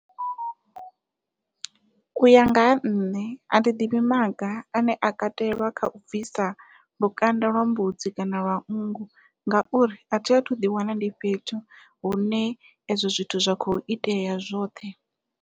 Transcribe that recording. Uya nga ha nṋe athi ḓivhi maga ane a katelwa kha u bvisa lukanda lwa mbudzi kana lwa nngu ngauri athi athu ḓi wana ndi fhethu hune ezwo zwithu zwa kho itea zwoṱhe.